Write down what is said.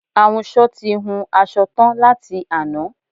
Ahunsọ ti hun asọ tán láti àná